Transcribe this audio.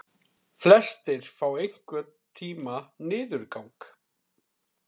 Flestir fá einhvern tíma niðurgang.